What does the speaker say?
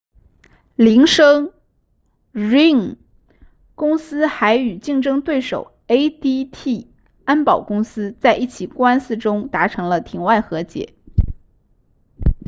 铃声 ring 公司还与竞争对手 adt 安保公司在一起官司中达成了庭外和解